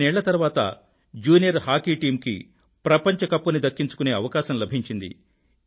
15 ఏళ్ళ తరువాత junior hockey team కి ప్రపంచ కప్ ని దక్కించుకునే అవకాశం లభించింది